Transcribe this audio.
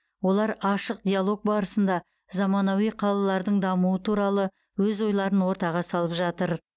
олар ашық диалог барысында замануи қалалардың дамуы туралы өз ойларын ортаға салып жатыр